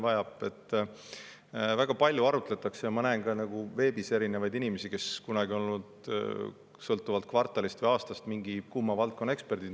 Väga palju arutletakse ja ma näen ka veebis erinevaid inimesi, kes kunagi on olnud mõnes kvartalis või mõnel aastal mingi kuuma valdkonna eksperdid.